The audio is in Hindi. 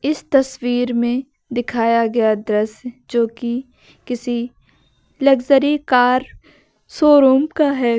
इस तस्वीर में दिखाया गया दृश्य जो कि किसी लग्जरी कार शोरूम का है।